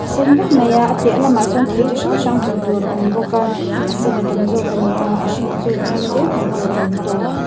a sen vek mai a a piah lamah sawn thei chi hrang hrang hmuh tur a awm bawk a a sen a tam zawk ani a a hring chu tlem te hmuh tur a awm tawh.